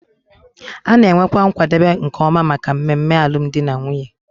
A na-enwekwa nkwadebe nke ọma maka mmemme alụmdi na nwunye